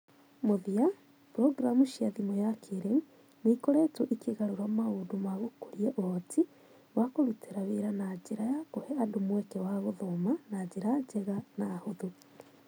Mũthia, programu cia thimu ya kĩĩrĩu nĩ ikoretwo ikĩgarũra maũndũ ma gũkũri ũhoti wa kũrutĩra wĩra na njĩra ya kũhe andũ mweke wa gũthoma na njĩra njega na hũthũ.